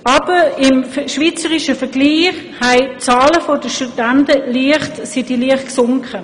Aber im schweizerischen Vergleich ist die Anzahl der Studierenden leicht gesunken.